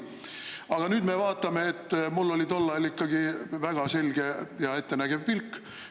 Aga nüüd me, et mul oli tol ajal ikkagi väga selge ja ettenägev pilk.